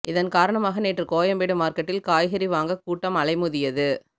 இதன் காரணமாக நேற்று கோயம்பேடு மார்க்கெட்டில் காய்கறி வாங்க கூட்டம் அலைமோதியது